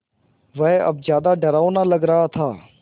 वह अब ज़्यादा डरावना लग रहा था